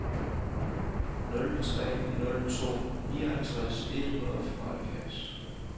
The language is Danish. nul tre nul to nioghalvtreds et hundrede og femoghalvfjerds